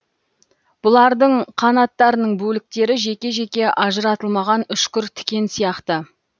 бұлардың қанаттарының бөліктері жеке жеке ажыратылмаған үшкір тікен сияқты